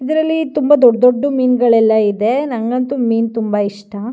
ಇದರಲ್ಲಿ ತುಂಬಾ ದೊಡ್ಡ ದೊಡ್ಡ ಮೀನುಗಳೆಲ್ಲ ಇದೆ ನಂಗಂತೂ ಮೀನ್ ತುಂಬಾ ಇಷ್ಟ.